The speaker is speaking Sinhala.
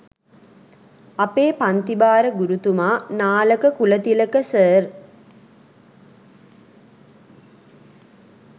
අපේ පන්තිභාර ගුරුතුමා නාලක කුලතිලක සර්